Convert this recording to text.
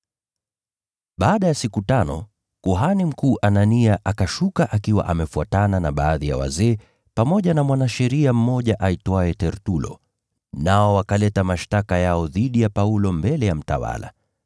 Baada ya siku tano, kuhani mkuu Anania akashuka akiwa amefuatana na baadhi ya wazee pamoja na mwanasheria mmoja aitwaye Tertulo, nao wakaleta mashtaka yao dhidi ya Paulo mbele ya mtawala.